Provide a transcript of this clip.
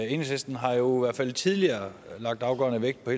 enhedslisten har jo i hvert fald tidligere lagt afgørende vægt på